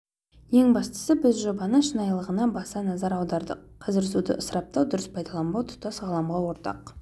ең бастысы біз жобаның шынайылығына баса назар аудардық қазір суды ысыраптау дұрыс пайдаланбау тұтас ғаламға ортақ